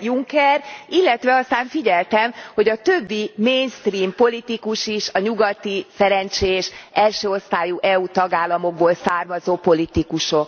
Juncker, illetve aztán figyeltem, hogy a többi mainstream politikus is a nyugati szerencsés első osztályú EU tagállamokból származó politikusok.